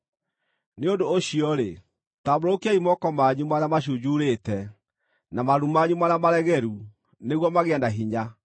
Nĩ ũndũ ũcio-rĩ, tambũrũkiai moko manyu marĩa macunjurĩte, na maru manyu marĩa maregeru nĩguo magĩe hinya.